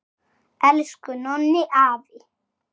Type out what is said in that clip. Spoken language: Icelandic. Elsku Nonni afi!